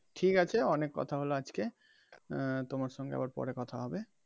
ঠিক আছে অনেক কথা হলো আজকে আহ তোমার সঙ্গে আবার পরে কথা হবে